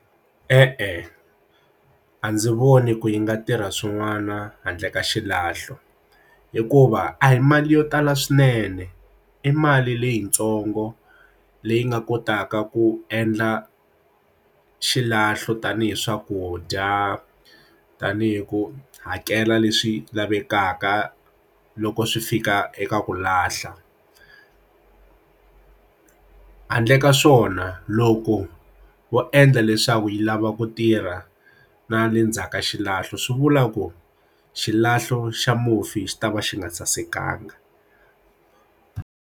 E-e, a ndzi voni ku yi nga tirha swin'wana handle ka xilahlo hikuva a hi mali yo tala swinene i mali leyitsongo leyi nga kotaka ku endla xilahlo tanihi swakudya tanihi ku hakela leswi lavekaka loko swi fika eka ku lahla ti handle ka swona loko wo endla leswaku yi lava ku tirha na le ndzhaku ka xilahlo swi vula ku xilahlo xa mufi xi tava xi nga sasekanga.